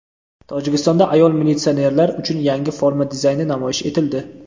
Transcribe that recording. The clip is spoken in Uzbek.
Tojikistonda ayol militsionerlar uchun yangi forma dizayni namoyish etildi.